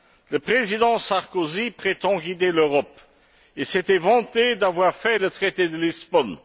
Le président Sarkozy prétend guider l'Europe et s'était vanté d'avoir fait le traité de Lisbonne.